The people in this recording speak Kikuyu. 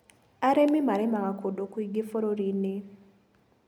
Arĩmi marĩmaga kũndũ kũingĩ bũruriinĩ.